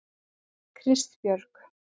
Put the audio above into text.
Kristbjörg